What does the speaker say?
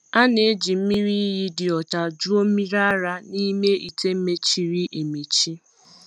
A na-eji mmiri iyi dị ọcha jụọ mmiri ara n’ime ite mechiri emechi.